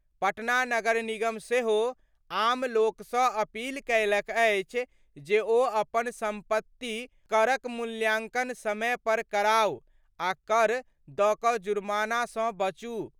पटना नगर निगम सेहो आम लोकसँ अपील कयलक अछि जे ओ अपन सम्पत्ति करक मूल्यांकन समय पर कराउ आ कर दऽ कऽ जुमार्नासँ बचु।